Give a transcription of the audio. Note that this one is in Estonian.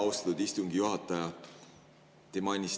Austatud istungi juhataja!